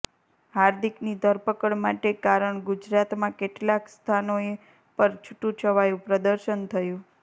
હાર્દિકની ધરપકડ માટે કારણ ગુજરાતમાં કેટલાક સ્થનઓ પર છુટુ છવાયુ પ્રદર્શન થયુ